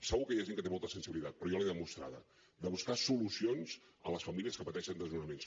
segur que hi ha gent que té molta sensibilitat però jo l’he demostrada de buscar solucions per a les famílies que pateixen desnonaments